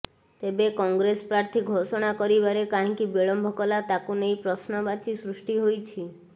ତେବେ କଂଗ୍ରେସ ପ୍ରାର୍ଥୀ ଘୋଷଣା କରିବାରେ କାହିଁକି ବିଳମ୍ବ କଲା ତାକୁ ନେଇ ପ୍ରଶ୍ନବାଚୀ ସୃଷ୍ଟି ହୋଇଛି